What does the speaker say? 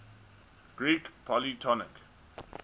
greek polytonic